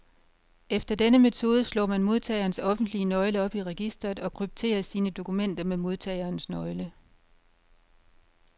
Efter denne metode slår man modtagerens offentlige nøgle op i registret, og krypterer sine dokumenter med modtagerens nøgle.